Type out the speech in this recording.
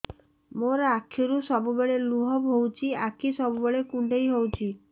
ମୋର ଆଖିରୁ ସବୁବେଳେ ଲୁହ ବୋହୁଛି ଆଖି ସବୁବେଳେ କୁଣ୍ଡେଇ ହଉଚି